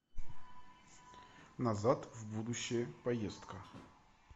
назад в будущее поездка